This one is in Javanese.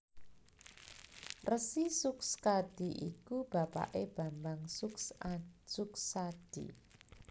Resi Sukskadi iku bapaké Bambang Sukshati